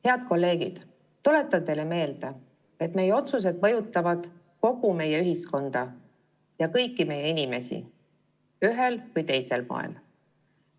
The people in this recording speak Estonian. Head kolleegid, tuletan teile meelde, et meie otsused mõjutavad kogu meie ühiskonda ja kõiki meie inimesi ühel või teisel moel.